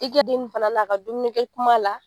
I kɛ den fana na ka dumunikɛ kuma la